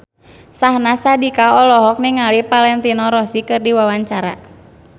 Syahnaz Sadiqah olohok ningali Valentino Rossi keur diwawancara